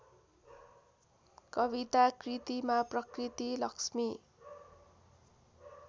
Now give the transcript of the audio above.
कविताकृतिमा प्रकृति लक्ष्मी